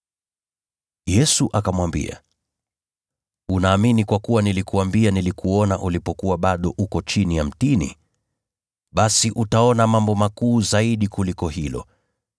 Yesu akamwambia, “Unaamini kwa kuwa nilikuambia nilikuona ulipokuwa bado uko chini ya mtini? Basi utaona mambo makuu zaidi kuliko hilo.”